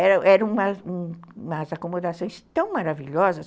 Eram era umas acomodações tão maravilhosas.